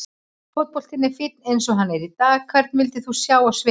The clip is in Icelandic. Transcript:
Fótboltinn er fínn eins og hann er í dag Hvern vildir þú sjá á sviði?